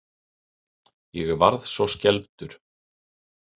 Ég varð svo skelfdur.